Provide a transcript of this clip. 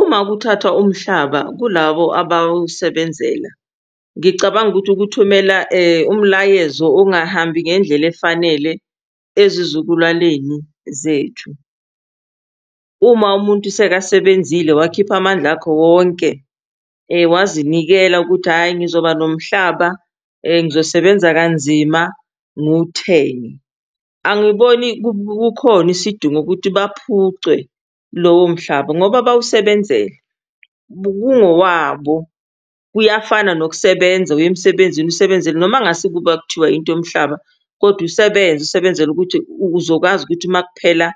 Uma kuthathwa umhlaba kulabo abawusebenzela, ngicabanga ukuthi kuthumela umlayezo ongahambi ngendlela efanele ezizukulwaneni zethu. Uma umuntu sekasebenzile wakhipha amandla akho wonke, wazinikela ukuthi hhayi, ngizoba nomhlaba, ngizosebenza kanzima ngiwuthenge, angiboni kukhona isidingo ukuthi baphucwe lowo mhlaba ngoba bawusebenzele, kungokwabo. Kuyafana nokusebenza, uye emsebenzini usebenzele noma ngase kuba kuthiwa into yomhlaba kodwa usebenze, usebenzele ukuthi uzokwazi ukuthi ma kuphela